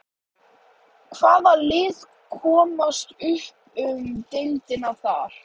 Hvaða lið komast upp um deild þar?